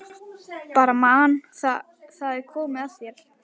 Ég bara man það- það er komið að þér.